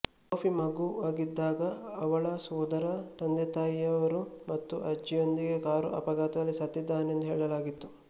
Sophie ಮಗುವಾಗಿದ್ದಾಗ ಅವಳ ಸೋದರ ತಂದೆತಾಯಿಯರು ಮತ್ತು ಅಜ್ಜಿಯೊಂದಿಗೆ ಕಾರು ಅಪಘಾತದಲ್ಲಿ ಸತ್ತಿದ್ದನೆಂದು ಹೇಳಲಾಗಿತ್ತು